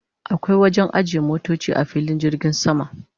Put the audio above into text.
akwai wajen ajiye motoci a filin jirgin sama